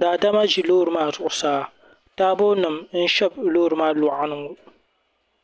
daadama ʒi loori maa zuɣusaa taabo nima n shɛbi loori maa luɣani ŋɔ.